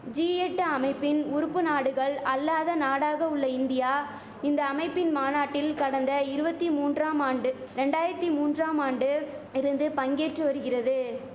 G எட்டு அமைப்பின் உறுப்பு நாடுகள் அல்லாத நாடாக உள்ள இந்தியா இந்த அமைப்பின் மாநாட்டில் கடந்த இருவத்தி மூன்றாம் ஆண்டு ரெண்டாயித்தி மூன்றாம் ஆண்டு இருந்து பங்கேற்று வரிகிறது